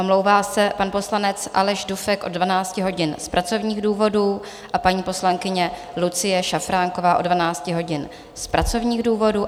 Omlouvá se pan poslanec Aleš Dufek od 12 hodin z pracovních důvodů a paní poslankyně Lucie Šafránková od 12 hodin z pracovních důvodů.